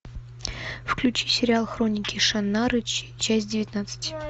включи сериал хроники шаннары часть девятнадцать